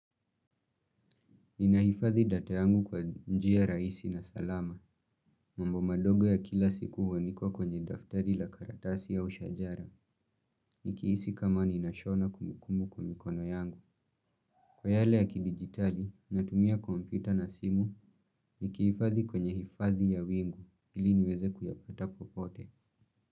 Ninaifadhi data yangu kwa njia raisi na salama, mambo madogo ya kila siku huandikwa kwenye daftari la karatasi au shajara, nikihisi kama ninashona kumbukumbu kwa mikono yangu. Kwa yale ya kidigitali, natumia kompyuta na simu, nikifadhi kwenye hifadhi ya wingu, ili niweze kuyapata popote.